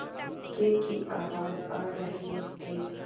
इक्के की आवाज आ रही थी